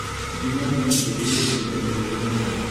Gima miyo ng'ato bedo gi kidono pok ong'ere.